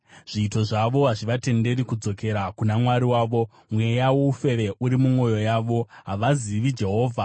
“Zviito zvavo hazvivatenderi kudzokera kuna Mwari wavo. Mweya woufeve uri mumwoyo yavo; havazivi Jehovha.